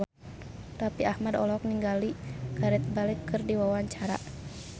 Raffi Ahmad olohok ningali Gareth Bale keur diwawancara